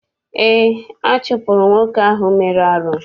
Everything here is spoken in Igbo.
Eé, a chụpụrụ nwoke ahụ mere arụ.